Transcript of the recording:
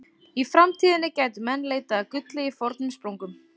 Í framtíðinni gætu menn leitað að gulli í fornum sprungum.